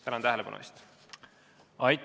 Tänan tähelepanu eest!